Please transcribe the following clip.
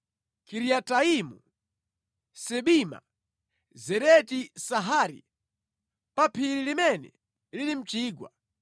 Kiriataimu, Sibima, Zereti-Sahari, pa phiri limene lili mʼchigwa,